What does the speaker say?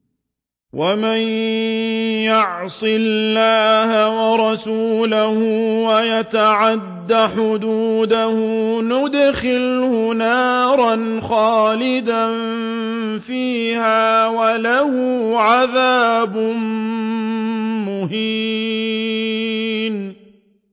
وَمَن يَعْصِ اللَّهَ وَرَسُولَهُ وَيَتَعَدَّ حُدُودَهُ يُدْخِلْهُ نَارًا خَالِدًا فِيهَا وَلَهُ عَذَابٌ مُّهِينٌ